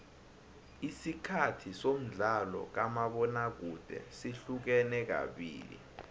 isikhathi somdlalo kamabona kude sihlukene kabili